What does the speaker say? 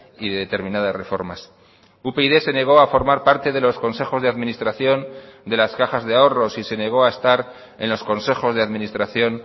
y de determinadas reformas upyd se negó a formar parte de los consejos de administración de las cajas de ahorros y se negó a estar en los consejos de administración